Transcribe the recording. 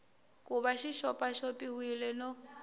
ku va xi xopaxopiwile no